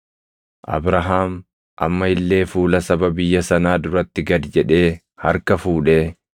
Abrahaam amma illee fuula saba biyya sanaa duratti gad jedhee harka fuudhee,